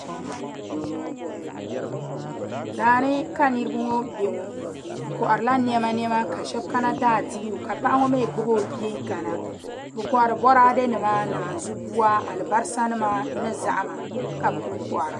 Daani ka niraba ŋo bɛ ŋo bi koharila niɛma niɛma ka shab kana daa dibu ka paɣa ŋo mii gbubi o bia kana bi kohari Boraadɛ nima ni naanzu buwa alibarisa nima ni zahama ka bi kuli kohara